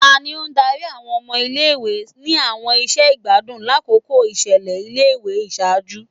Tani o dari awọn ọmọ ile-iwe ni awọn iṣẹ igbadun lakoko iṣẹlẹ ile-iwe iṣaaju?